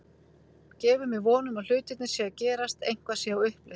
Gefur mér von um að hlutirnir séu að gerast, eitthvað sé á uppleið.